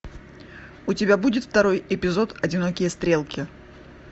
у тебя будет второй эпизод одинокие стрелки